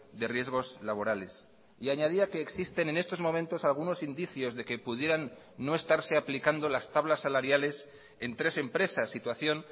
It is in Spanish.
de riesgos laborales y añadía que existen en estos momentos algunos indicios de que pudieran no estarse aplicando las tablas salariales en tres empresas situación